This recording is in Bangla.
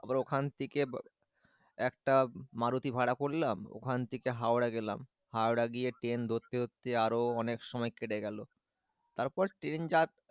ওখান থেকে একটা মারুতি ভাড়া পরলাম ওখান থেকে হাওড়া গেলাম হাওড়া গিয়ে ট্রেন ধরতে ধরতে আরো অনেক সময় কেটে গেল তারপর ট্রেন যাত্রা,